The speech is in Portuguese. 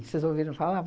Vocês ouviram falar?